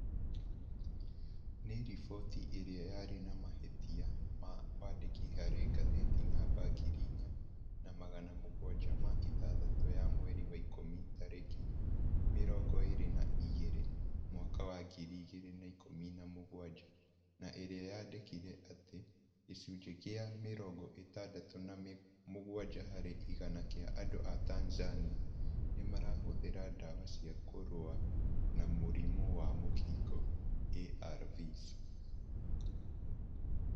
Nĩ riboti ĩrĩa yarĩ na mahĩtia ma wandĩki harĩ ngathĩti namba ngiri inya na magana mũgwanja ma ithathatũ ya mweri wa ikũmi tarĩki mĩrongo ĩrĩ na igĩrĩ , mwaka wa ngiri igĩrĩ na ikũmi na mũgwanja na ĩrĩa yandĩkire atĩ "gĩcunjĩ gĩa mĩrongo ĩtandatĩ na mũgwanja harĩ igana kĩa andũ a Tanzania nĩ marahũthĩra dawa cia kũrũa na mũrimũ wa mũkingo ARVs).